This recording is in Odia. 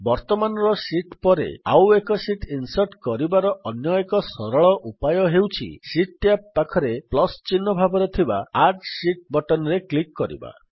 ବର୍ତ୍ତମାନର ଶୀଟ୍ ପରେ ଆଉ ଏକ ଶୀଟ୍ ଇନ୍ସର୍ଟ୍ କରିବାର ଅନ୍ୟ ଏକ ସରଳ ଉପାୟ ହେଉଛି ଶୀଟ୍ ଟ୍ୟାବ୍ ପାଖରେ ପ୍ଲସ୍ ଚିହ୍ନ ଭାବରେ ଥିବା ଆଡ୍ ଶୀତ୍ ବଟନ୍ ରେ କ୍ଲିକ୍ କରିବା